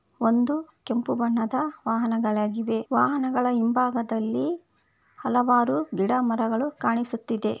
ಒಂದು ಕೆಂಪು ಬಣ್ಣದ ವಾಹನಗಳಾಗಿವೆ ವಾಹನಗಳ ಹಿಂಬಾಗದಲ್ಲಿ ಹಲವಾರು ಗಿಡಮರಗಳು ಕಾಣಿಸುತ್ತಿದೆ.